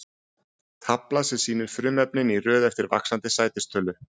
Tafla sem sýnir frumefnin í röð eftir vaxandi sætistölu.